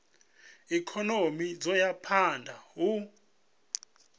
ikonomi dzo ya phanda u